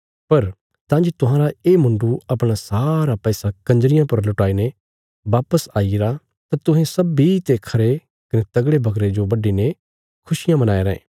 पर तां जे तुहांरा ये मुण्डु अपणा सारा पैसा कंजरियां पर लुटाईने वापस आईरा तां तुहें सब्बीं ते खरे कने मोटे जे बकरे जो बड्डीने खुशियां मनाई रायें